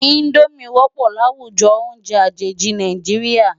Indómi wòpò láwújò óùnjè ajéji Nájiriá